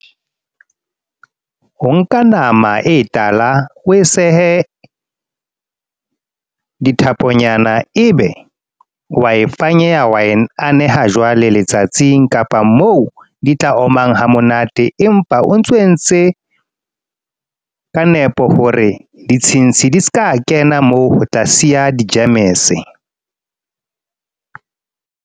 Ho nka nama e tala, o e sehe dithaponyana. Ebe, wa e fanyeha wa e aneha jwale letsatsing. Kapa moo di tla omang hamonate. Empa o ntso entse ka nepo, hore ditshintshi di seka kena moo ho tla siya di-gems.